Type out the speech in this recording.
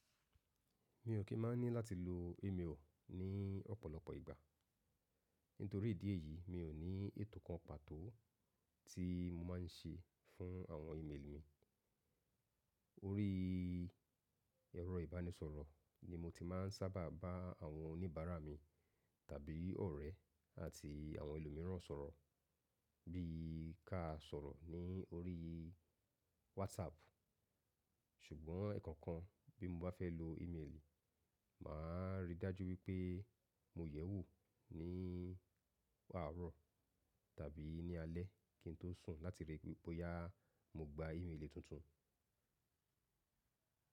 Mi ò kí máa ní láti lo ímeèlì ní ọ̀pọ̀lọpọ̀ ìgbà. Nítorí ìdí èyí, mi ò ní ètò kan pàtó tí mo má ń ṣe fún àwọn ímeèlì mi. Orí ẹ̀rọ ìbánisọ̀rọ̀ ni mo ti má ń sábà bá àwọn oníbàárà mi tàbí ọ̀rẹ́ àti àwọn ẹlòmíràn sọ̀rọ̀ bí ka sọ̀rọ̀ ní orí WhatsApp. Ṣùgbọ́n ẹ̀ẹ̀kan kan bí mo bá fẹ́ lo ímeèlì, màá rí i dájú wípé mo yẹ̀wò ní àárọ̀ tàbí ní alẹ́ kí n tó sùn láti ríi wípé boyá mo gba ímeèlì tuntun.